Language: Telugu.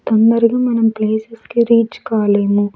మనం కి రీచ్ కాలేము.